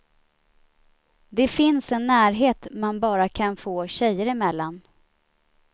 Det finns en närhet man bara kan få tjejer emellan.